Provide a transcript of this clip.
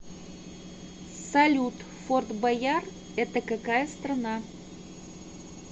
салют форт бойяр это какая страна